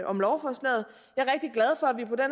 om lovforslaget jeg